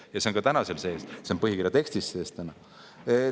Ja see on ka täna seal sees, see on põhikirja tekstis sees.